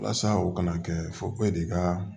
Walasa u kana kɛ fɔ ko e de ka